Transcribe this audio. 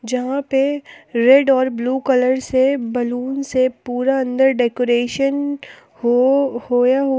यहां पे रेड और ब्लू कलर से बैलून से पूरा अंदर डेकोरेशन हो होया हुआ--